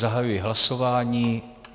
Zahajuji hlasování.